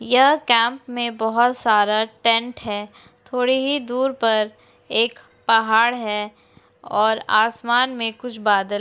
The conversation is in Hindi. यह केम्प में बहोत सारा टेंट हैं थोड़ी ही दूर पर एक पहाड़ है और आसमान में कुछ बादल --